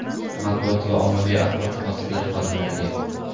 Matbuot va ommaviy axborot vositalari xodimlariga.